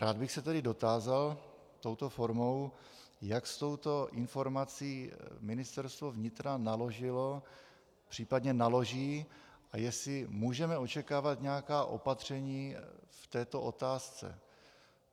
Rád bych se tedy dotázal touto formou, jak s touto informací Ministerstvo vnitra naložilo, případně naloží, a jestli můžeme očekávat nějaká opatření v této otázce.